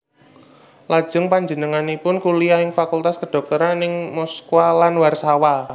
Lajeng panjenenganipun kuliah ing Fakultas Kedhokteran ing Moskwa lan Warsawa